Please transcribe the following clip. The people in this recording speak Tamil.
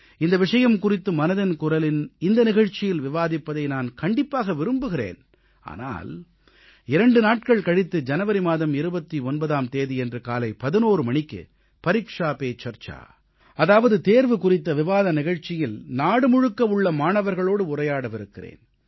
இந்த விஷயம் குறித்து மனதின் குரலின் இந்த நிகழ்ச்சியில் விவாதிப்பதை நான் கண்டிப்பாக விரும்புகிறேன் ஆனால் 2 நாட்கள் கழித்து ஜனவரி மாதம் 29ஆம் தேதியன்று காலை 11 மணிக்கு பரீக்ஷா பே சர்ச்சா அதாவது தேர்வு குறித்த விவாத நிகழ்ச்சியில் நாடு முழுக்க உள்ள மாணவர்களோடு உரையாடவிருக்கிறேன்